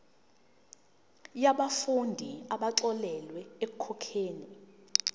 yabafundi abaxolelwa ekukhokheni